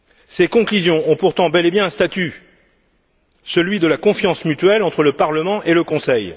Ces conclusions ont pourtant bel et bien un statut, celui de la confiance mutuelle entre le Parlement et le Conseil.